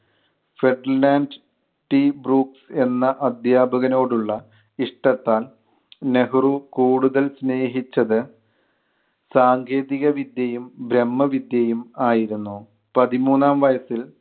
ഫ്രഡിലാൻഡ് T Brooks എന്ന അധ്യാപകനോടുള്ള ഇഷ്ടത്താൽ നെഹ്‌റു കൂടുതൽ സ്നേഹിച്ചത് സാങ്കേതിക വിദ്യയും ബ്രഹ്മ വിദ്യയും ആയിരുന്നു. പതിമൂന്നാം വയസ്സിൽ